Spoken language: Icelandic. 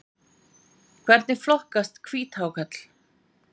Hvernig flokkast hvíthákarl?